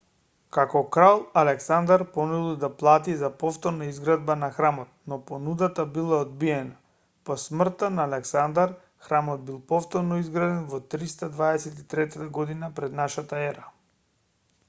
како крал александар понудил да плати за повторна изградба на храмот но понудата била одбиена по смртта на александар храмот бил повторно изграден во 323 година пр н е